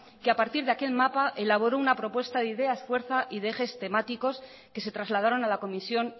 que a partir de aquel mapa elaboró una propuesta de ideas fuerza y de ejes temáticos que se trasladaron a la comisión